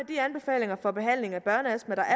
de anbefalinger for behandling af børneastma der